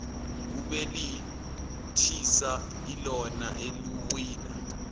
kubelethisa ilona elawina